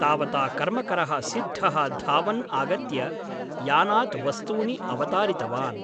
तावता कर्मकरः सिद्धः धावन् आगत्य यानात् वस्तूनि अवतारितवान् ।